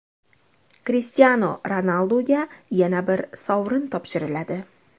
Krishtianu Ronalduga yana bir sovrin topshiriladi.